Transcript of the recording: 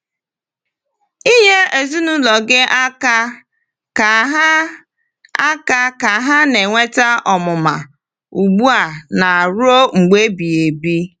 Nye ezinụlọ gị aka ka ha aka ka ha na-enweta ọmụma ugbu a na ruo mgbe ebighị ebi.